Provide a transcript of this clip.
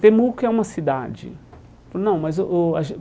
Temuco é uma cidade falou não mas o o a